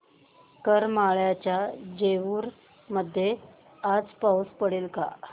करमाळ्याच्या जेऊर मध्ये आज पाऊस पडेल का